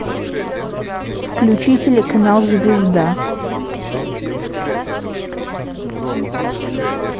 включи телеканал звезда